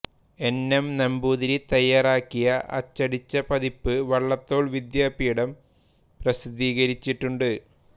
N M Namboothiri തയ്യാറാക്കിയ അച്ചടിച്ച പതിപ്പ് വള്ളത്തോൾ വിദ്യാപീഠം പ്രസിദ്ധീകരിച്ചിട്ടൂണ്ട്